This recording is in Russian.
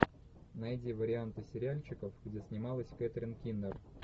найди варианты сериальчиков где снималась кэтрин кинер